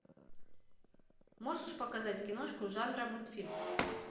можешь показать киношку жанра мультфильм